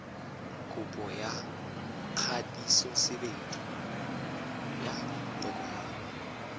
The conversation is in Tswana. kopo ya kgatisosebedi ya tokomane